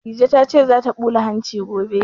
Dije ta ce za ta ɓula hanci gobe